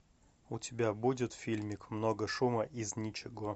у тебя будет фильмик много шума из ничего